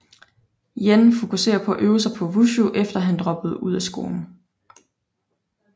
Yen fokuserede på at øve sig på Wushu efter han droppede ud af skolen